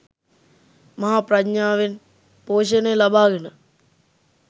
මහා ප්‍රඥාවෙන් පෝෂණය ලබාගෙන